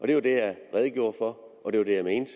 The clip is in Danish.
det var det jeg redegjorde for og det var det jeg mente